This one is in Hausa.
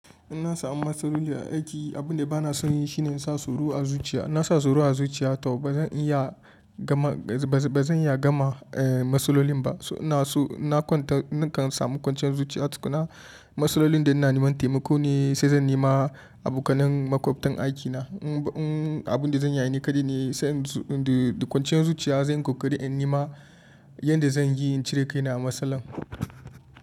In na samu masloli a aiki, abin da ba na son yi shi ne in sa tsoro a zuciya. In na sa tsoro a zuciya to ba zan iya gama maslolin ba. Na kan samu kwanciyar zuciya tukunna. Maslolin da ina neman taimako ne sai zan nema abokan makwabtan aikina. Abin da zan yi ne kaɗai ne sai kwanciyar zuciya zan kokari in nema yadda zan yi in cire kaina a masalan.